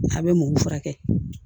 A bɛ mɔ furakɛ